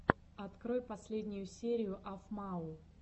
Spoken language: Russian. открой последнюю серию афмау